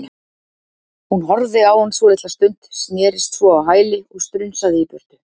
Hún horfði á hann svolitla stund, snerist svo á hæli og strunsaði í burtu.